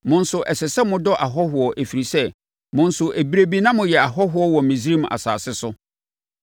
Mo nso, ɛsɛ sɛ modɔ ahɔhoɔ, ɛfiri sɛ, mo nso ɛberɛ bi na moyɛ ahɔhoɔ wɔ Misraim asase so.